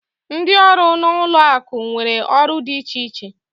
Ndị ọrụ na ụlọ akụ nwere ọrụ dị iche iche